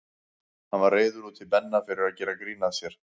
Hann var reiður út í Benna fyrir að gera grín að sér.